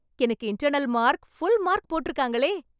எனக்கு internal mark, full mark போட்ருக்காங்களே...